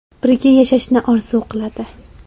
Birga yashashni orzu qiladi.